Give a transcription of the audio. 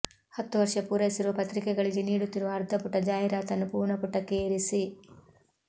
ಹತ್ತು ವರ್ಷ ಪೂರೈಸಿರುವ ಪತ್ರಿಕೆಗಳಿಗೆ ನೀಡುತ್ತಿರುವ ಅರ್ಧ ಪುಟ ಜಾಹಿರಾತನ್ನು ಪೂರ್ಣಪುಟಕ್ಕೆ ಏರಿಸಿ